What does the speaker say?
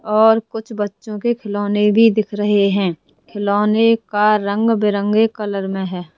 और कुछ बच्चों के खिलौने भी दिख रहे हैं खिलौने का रंग बिरंगे कलर में है।